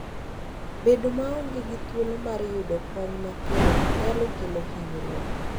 Bedo maonge gi thuolo mar yudo kony mapiyo nyalo kelo hinyruok.